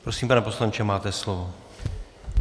Prosím, pane poslanče, máte slovo.